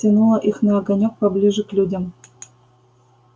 тянуло их на огонёк поближе к людям